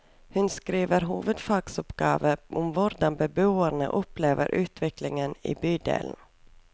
Hun skriver hovedfagsoppgave om hvordan beboerne opplever utviklingen i bydelen.